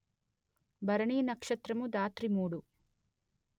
భరణి నక్షత్రము ధాత్రిమూడు